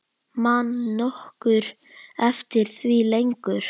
Man nokkur eftir því lengur?